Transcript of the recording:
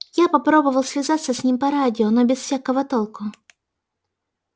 я попробовал связаться с ним по радио но без всякого толку